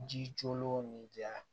Ji jolenw ni ja